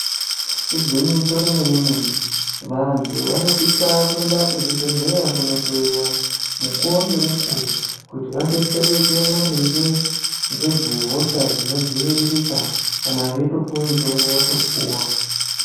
Igwinyiso remene-mene, vantu vanosisa kuenda kuzvibhedhleya kunohloyiwa mukuwo ngemukuwo, kuti vadetsereke maringe ngezvehosha dzinodziviririka ,kana veyitopuwa mutombo, votopuwa.